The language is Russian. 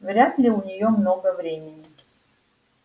вряд ли у неё много времени